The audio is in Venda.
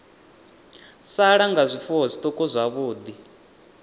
sala nga zwifuwo zwiṱuku zwavhuḓi